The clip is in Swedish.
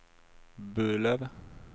Burlöv